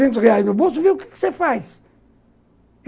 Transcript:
seiscentos reais no bolso e vê o que você faz.